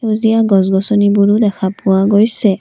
সেউজীয়া গছ গছনিবোৰো দেখা পোৱা গৈছে।